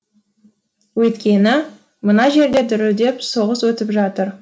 өйткені мына жерде дүрілдеп соғыс өтіп жатыр